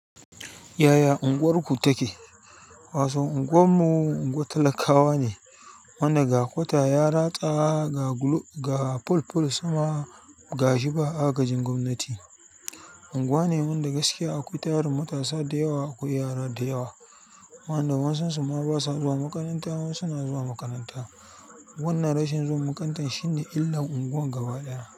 Yaya unguwarku take? Wasu unguwan mu unguwar talakawa ne, wanda ga kwata ya ratsa ga fulful sama gashi ba agajin gwamnati. Unguwa ne wanda gaskiya akwai tarin matasa da yawa akwai yara da yawa, wanda wasunsu ma ba sa zuwa makaranta wasu na zuwa makaranta. Wannan rashin zuwa makarantar shine illar unguwar gaba ɗaya.